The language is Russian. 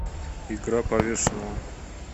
игра повешенного